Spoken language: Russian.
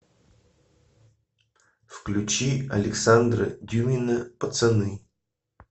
включи александра дюмина пацаны